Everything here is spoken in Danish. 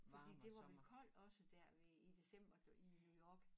Fordi det var jo koldt også dér i december i New York